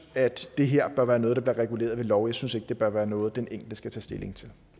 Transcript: at det her bør være noget der bliver reguleret ved lov jeg synes ikke at det bør være noget den enkelte skal tage stilling til